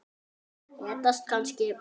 Reddast kannski?